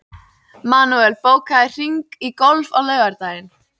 Manuel, bókaðu hring í golf á laugardaginn.